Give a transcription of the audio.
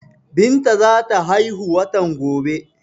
Binta za ta haihu watan gobe.